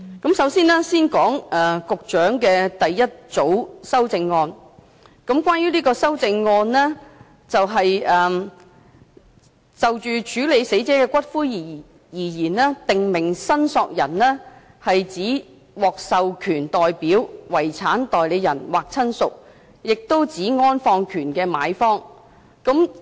我先說一說局長的第一組修正案，這項修正案欲修訂的條文關於就死者的骨灰而言，"訂明申索人"是指"獲授權代表、遺產代理人或親屬，亦指安放權的買方"。